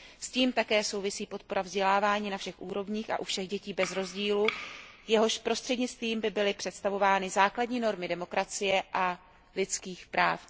S tím také souvisí podpora vzdělávání na všech úrovních a u všech dětí bez rozdílu, jehož prostřednictvím by byly představovány základní normy demokracie a lidských práv.